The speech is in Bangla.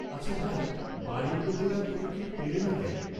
আচ্ছা ভাই, বাড়ীর লোকেরা তোকে কেউ পেলে না কেন?